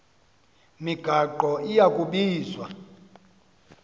migaqo iya kubizwa